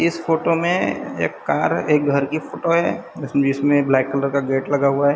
इस फोटो में एक कार एक घर की फोटो है जिसमें ब्लैक कलर का गेट लगा हुआ है।